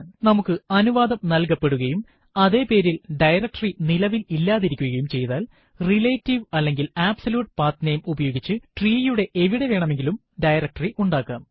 നമുക്ക് അനുവാദം നല്കപ്പെടുകയും അതെ പേരിൽ ഡയറക്ടറി നിലവിൽ ഇല്ലാതിരിക്കുകയും ചെയ്താൽ റിലേറ്റീവ് അല്ലെങ്കിൽ അബ്സല്യൂട്ട് പത്നമേ ഉപയോഗിച്ച് ട്രീയുടെ എവിടെ വേണമെങ്കിലും ഡയറക്ടറി ഉണ്ടാക്കാം